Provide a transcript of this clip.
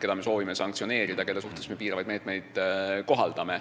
keda me soovime sanktsioneerida, kelle suhtes me piiravaid meetmeid kohaldame.